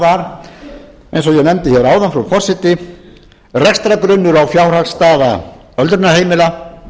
ég nefndi hér áðan frú forseti rekstrargrunnur og fjárhagsstaða öldrunarheimila